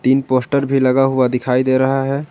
तीन पोस्टर भी लगा हुआ दिखाई दे रहा है।